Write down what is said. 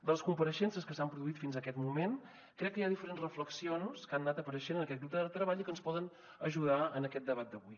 de les compareixences que s’han produït fins a aquest moment crec que hi ha diferents reflexions que han anat apareixent en aquest grup de treball i que ens poden ajudar en aquest debat d’avui